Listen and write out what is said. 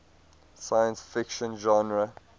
science fiction genre